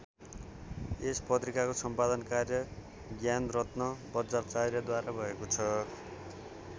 यो पत्रिकाको सम्पादन कार्य ज्ञानरत्न वज्राचार्यद्वारा भएको छ।